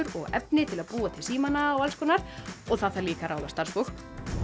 og efni til að búa til símana og alls konar og það þarf líka að ráða starfsfólk